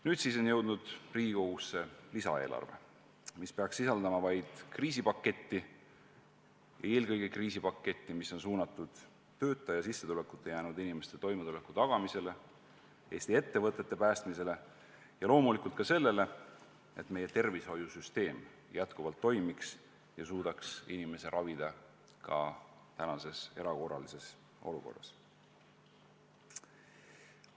Nüüd on jõudnud Riigikogusse lisaeelarve, mis peaks sisaldama vaid kriisipaketti ning eelkõige sellist kriisipaketti, mis oleks suunatud töö ja sissetulekuta jäänud inimeste toimetuleku tagamisele, Eesti ettevõtete päästmisele ja loomulikult sellele, et meie tervishoiusüsteem edaspidigi toimiks ja inimesi suudetaks ravida ka tänases erakorralises olukorras.